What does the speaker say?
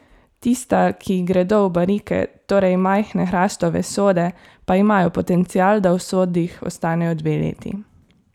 Tista, ki gredo v barike, torej majhne hrastove sode, pa imajo potencial, da v sodih ostanejo dve leti.